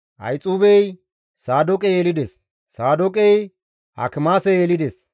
Ahixuubey Saadooqe yelides; Saadooqey Akimaase yelides;